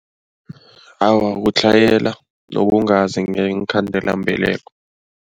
Awa, kutlhayela yokungazi ngeenkhandelambeleko.